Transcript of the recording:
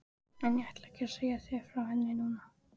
En ég ætla ekki að segja þér frá henni núna.